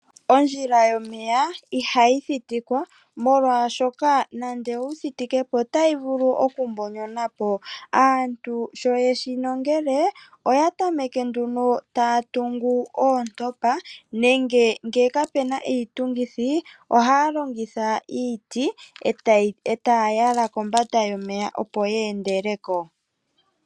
Ondjila yomeya ihayi thitikwa, molwashoka nando owu thitike po otayi vulu okumbonyonwa po. Aantu sho ye shi nongele oya tameke nduno tay atungu oontopa, nenge ngele kapu na iitungithi ohaya longitha iiti e taya yala kombanda yomeya, opo ye endele ko.